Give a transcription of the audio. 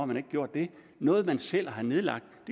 man ikke gjort det noget man selv har nedlagt